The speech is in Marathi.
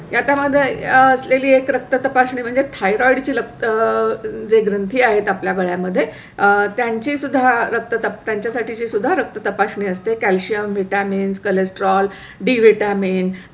याचा मध्ये असलेली एक रक्त तपासणी म्हणजे thyroid ची लगता जे ग्रंथी आहेत आपल्या गाड्या मध्ये आहे त्यांची सुद्धा रक्त त्यांच्या साठी सुद्धा रक्त तपासणी असते. calcium vitamin cholesterol D vitamin